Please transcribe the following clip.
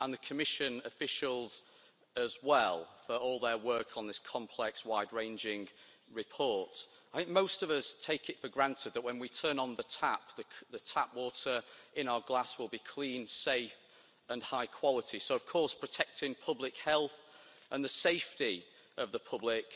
and the Commission officials as well, for all their work on this complex, wide ranging report. I think most of us take it for granted that when we turn on the tap, the tap water in our glass will be clean, safe and high quality, so of course, protecting public health and the safety of the public